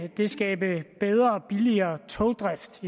det skabe bedre og billigere togdrift